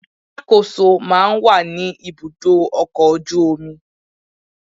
Alákòóso máa ń wà ní ibùdó ọkọ̀ ojú omi